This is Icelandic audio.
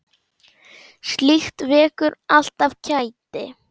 Slíkt vekur alltaf kæti.